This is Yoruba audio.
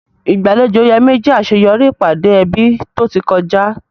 Ìgbàlejò Yemi jẹ́ àṣeyọrí ìpàdé ẹbí tó ti kọjá.